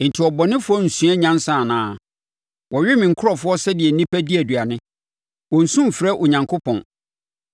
Enti abɔnefoɔ rensua nyansa anaa? Wɔwe me nkurɔfoɔ sɛdeɛ nnipa di aduane. Wɔnnsu mfrɛ Onyankopɔn.